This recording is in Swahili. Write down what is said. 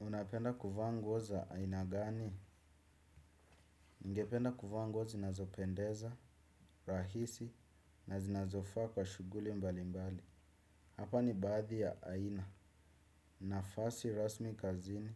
Unapenda kuvaa nguo za aina gani? Ningependa kufaa nguo zinazopendeza, rahisi, na zinazofaa kwa shughuli mbali mbali. Hapa ni baadhi ya aina. Nafasi rasmi kazini.